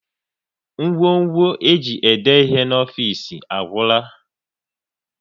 Ngwo ngwo e ji ede ihe n'ofisi agwụla